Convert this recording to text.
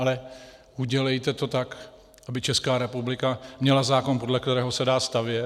Ale udělejte to tak, aby Česká republika měla zákon, podle kterého se dá stavět.